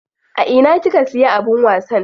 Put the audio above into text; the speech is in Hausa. A ina kika siya abin wasan?